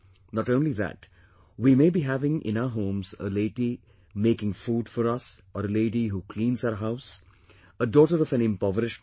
Not only that, we may be having in our homes a lady making food for us or a lady who cleans our house, a daughter of an impoverished mother